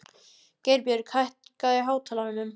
Geirbjörg, hækkaðu í hátalaranum.